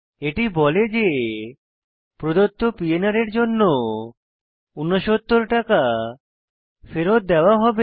এটি বলে যে প্রদত্ত পিএনআর এর জন্য 69 টাকা ফেরৎ দেওয়া হবে